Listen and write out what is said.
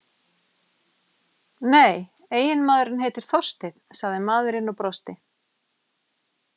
Nei, eiginmaðurinn heitir Þorsteinn, sagði maðurinn og brosti.